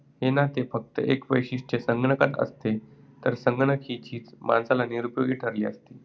हेना ते फक्त एकच वैशिष्ट्य संगणकात असते तर संगणक ही चीज माणसाला निरुपयोगी ठरली असती.